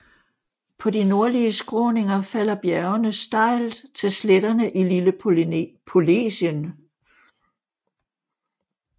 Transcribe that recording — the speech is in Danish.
På de nordlige skråninger falder bjergene stejlt til sletterne i Lille Polesien